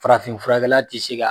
Farafin furakɛla ti se ka